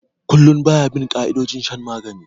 Kullum ba ya bin ka'idojin shan magani